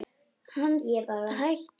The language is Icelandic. Hann hætti líka að vaxa.